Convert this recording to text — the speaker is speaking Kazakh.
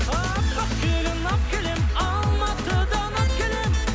аппақ келін алып келемін алматыдан алып келемін